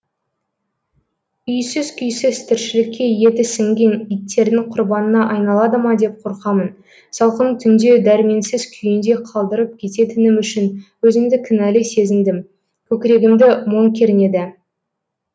үйсіз күйсіз тіршілікке еті сіңген иттердің құрбанына айналады ма деп қорқамын салқын түнде дәрменсіз күйінде қалдырып кететінім үшін өзімді кінәлі сезіндім көкірегімді мұң кернеді